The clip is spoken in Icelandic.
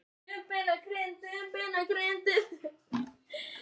Hann var hávaxinn og sterklegur þótt hann væri grannur.